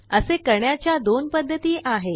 असे करण्याच्या दोन पद्धती आहेत